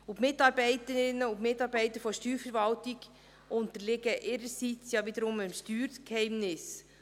Die Mitarbeiterinnen und Mitarbeiter der Steuerverwaltung unterliegen ihrerseits dem Steuergeheimnis.